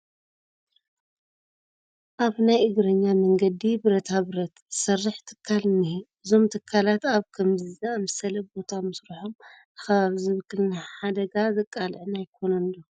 ኣብ ናይ እግረኛ መንገዲ ብረታ ብረት ዝሰርሕ ትካል እኒሀ፡፡ እዞም ትካላት ኣብ ከምዚ ዝኣምሰለ ቦታ ምስርሖም ንከባቢ ዝብክልን ንሓደጋ ዘቃልዕን ኣይኾንን ዶ?